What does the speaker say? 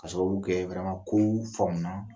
Ka sababu kɛ ko faamuna